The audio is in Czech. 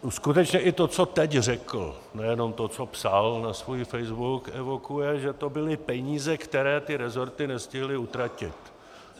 Skutečně i to, co teď řekl, nejenom to, co psal na svůj Facebook, evokuje, že to byly peníze, které ty rezorty nestihly utratit.